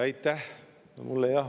Aitäh!